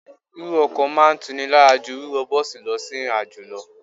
Wíwọ ọkọ̀ máa ń tuni lára jú wíwọ bọ́ọ̀sì lọ sí ìrìnàjò lọ.